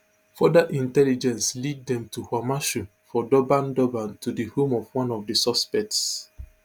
further intelligence lead dem to kwamashu for durban durban to di home of one of di suspects